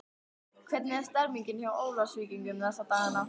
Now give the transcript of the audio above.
Hvernig er stemmningin hjá Ólafsvíkingum þessa dagana?